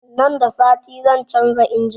Nan da sati zan canza injin